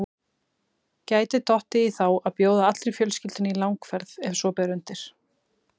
Gæti dottið í þá að bjóða allri fjölskyldunni í langferð ef svo ber undir.